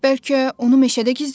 Bəlkə onu meşədə gizlədək?